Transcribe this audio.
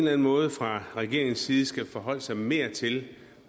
anden måde fra regeringens side skal forholde sig mere til